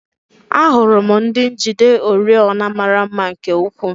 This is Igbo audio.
Ahụrụ m ndị njide oriọna mara mma nke ukwuu.